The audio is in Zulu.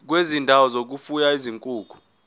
kwezindawo zokufuya izinkukhu